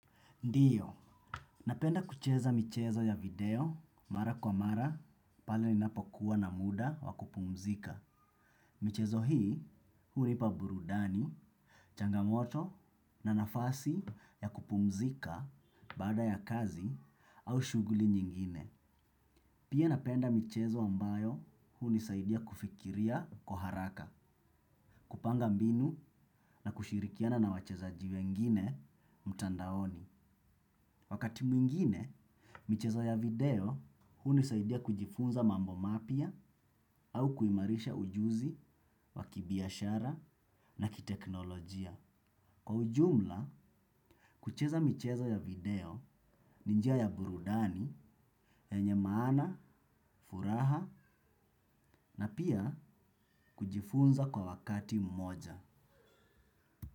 Ndiyo, napenda kucheza michezo ya video mara kwa mara pale linapo kuwa na muda wa kupumzika. Michezo hii hunipa burudani, changamoto na nafasi ya kupumzika baada ya kazi au shughuli nyingine. Pia napenda michezo ambayo hunisaidia kufikiria kwa haraka, kupanga mbinu na kushirikiana na wachezaji wengine mtandaoni. Wakati mwingine, michezo ya video hunisaidia kujifunza mambo mapya au kuimarisha ujuzi wa kibiashara na kiteknolojia. Kwa ujumla, kucheza michezo ya video ni njia ya burudani, yenye maana, furaha na pia kujifunza kwa wakati mmoja.